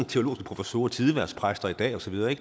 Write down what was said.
teologiske professorer og tidehvervspræster i dag osv